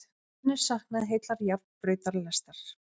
Enn er saknað heillar járnbrautalestar